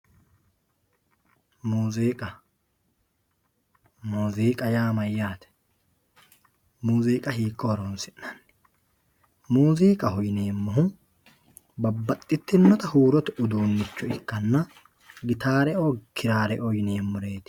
Muuziqqa muuziqqa yaa mayaate, muuziiqqa hiiko horonsinanni, muuziqqaho yineemohu babaxitinotta huurote uduunicho ikkanna gitareoo kirareoo yineemoreeti